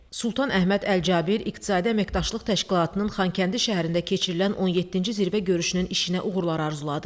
Sultan Əhməd Əl-Cabir İqtisadi Əməkdaşlıq Təşkilatının Xankəndi şəhərində keçirilən 17-ci zirvə görüşünün işinə uğurlar arzuladı.